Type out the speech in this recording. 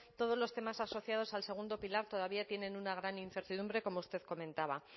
todos los temas asociados al segundo pilar todavía tienen una gran incertidumbre como usted comentaba